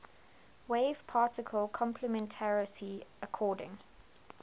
wave particle complementarity according